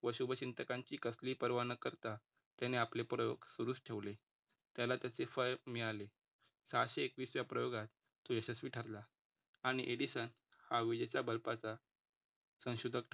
व शुभचिंतकांची कसली परवा न करता त्याने आपले प्रयोग सुरूच ठेवले. त्याला त्याचे फळ मिळाले. सहाशे एकवीस व्या प्रयोगात तो यशस्वी ठरला आणि एडिसन हा विजेचा bulb चा संशोधकथा सोबत